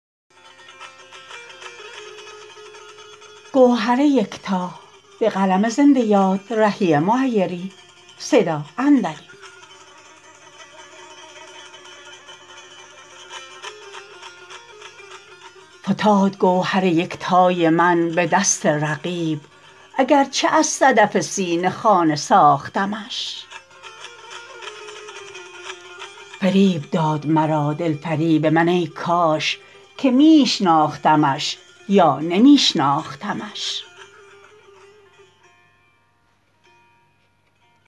فتاد گوهر یکتای من به دست رقیب اگرچه از صدف سینه خانه ساختمش فریب داد مرا دل فریب من ای کاش که می شناختمش یا نمی شناختمش